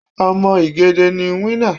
Ọmọ igede ni winner.